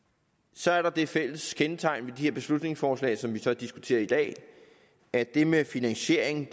så er der det fælles kendetegn ved de her beslutningsforslag som vi så diskuterer i dag at det med finansiering